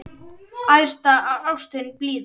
Æðsta ástin blíða!